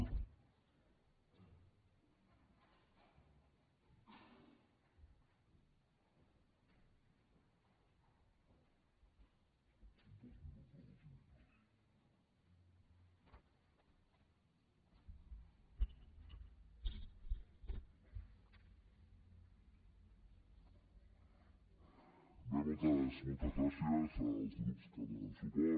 bé moltes gràcies als grups que donen suport